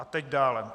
A teď dále.